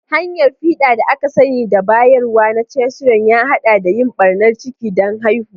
Hanyar fiɗa da aka sani da bayarwa na cesarean ya haɗa da yin ɓarnar ciki don haihuwa.